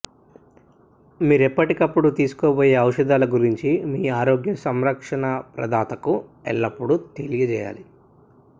మీరు ఎప్పటికప్పుడు తీసుకోబోయే ఔషధాల గురించి మీ ఆరోగ్య సంరక్షణ ప్రదాతకు ఎల్లప్పుడూ తెలియజేయాలి